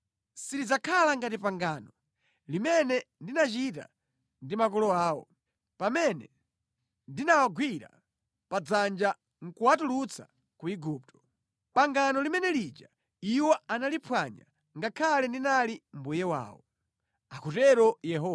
Silidzakhala ngati pangano limene ndinachita ndi makolo awo pamene ndinawagwira padzanja nʼkuwatulutsa ku Igupto; chifukwa anaphwanya pangano langa, ngakhale ndinali mwamuna wawo,” akutero Yehova.